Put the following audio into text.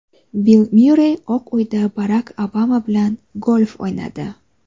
Bill Myurrey Oq Uyda Barak Obama bilan golf o‘ynadi.